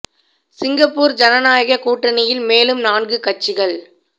Singapore ஜனநாயகக் கூட்டணியில் மேலும் நான்கு கட்சிகள்